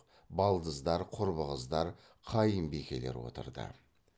балдыздар құрбы қыздар қайынбикелер отырды